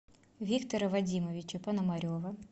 виктора вадимовича пономарева